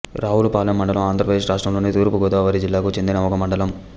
రావులపాలెం మండలం ఆంధ్రప్రదేశ్ రాష్ట్రంలోని తూర్పు గోదావరి జిల్లాకు చెందిన ఒక మండలం